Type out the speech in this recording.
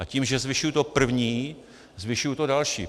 A tím, že zvyšuji to první, zvyšuji to další.